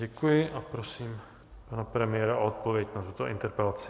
Děkuji a prosím pana premiéra o odpověď na tuto interpelaci.